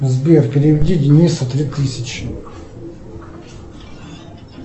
сбер переведи денису три тысячи